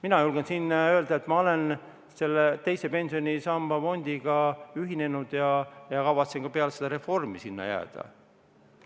Mina julgen siin öelda, et ma olen teise pensionisamba fondiga ühinenud ja kavatsen ka peale seda reformi sinna jääda.